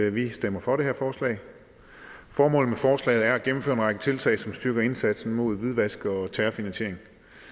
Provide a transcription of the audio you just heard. at vi stemmer for det her forslag formålet med forslaget er at gennemføre en række tiltag som styrker indsatsen mod hvidvask og terrorfinansiering